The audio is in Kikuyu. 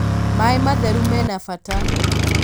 Maĩ matheru mena bata